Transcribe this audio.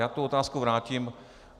Já tu otázku vrátím.